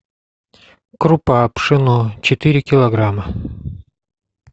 крупа пшено четыре килограмма